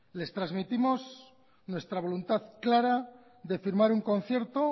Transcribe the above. les trasmitimos nuestra voluntad clara de firmar un concierto